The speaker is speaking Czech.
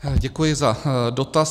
Děkuji za dotaz.